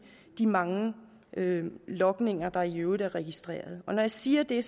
de mange logninger der i øvrigt er blevet registreret og når jeg siger det